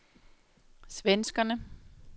svenskerne